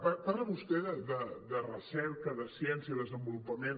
parla vostè de recerca de ciència desen·volupament